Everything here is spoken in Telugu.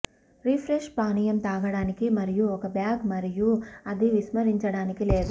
రిఫ్రెష్ పానీయం త్రాగడానికి మరియు ఒక బ్యాగ్ మరియు అది విస్మరించడానికి లేదు